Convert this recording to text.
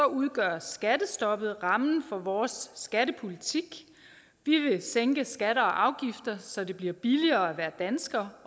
udgør skattestoppet rammen for vores skattepolitik vi vil sænke skatter og afgifter så det bliver billigere at være dansker